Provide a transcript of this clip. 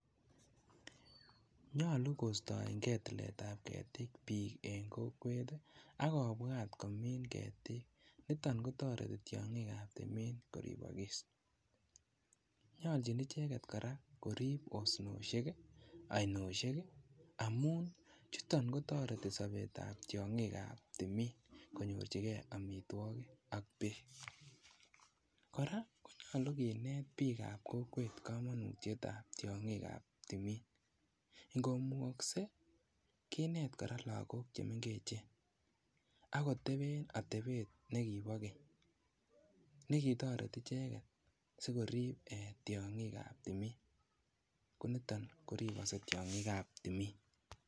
Nyolu kostoengee tiletab ketik bik en kokwet ii ak kobwat komin ketik niton kotoreti tiongikab timin koribokis, nyoljin icheget koraa korib osnosiek, oinosiek ii amun chuton kotoreti sobetab tiongikab timin konyorjigee omitwokik ok beek, koraa konyolu kinet bikab kokwet komonutietab tiongikab timin inkomukoksee kinet koraa lagok chemenkechen okoteben otebet nekiboo keny nekitoreti icheget sikorib tiongikab timin koniton koriboksee tiongikab timin.